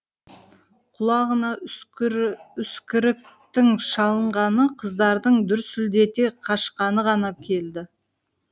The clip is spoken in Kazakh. құлағына үскіріктің шалынғаны қыздардың дүрсілдете қашқаны ғана келді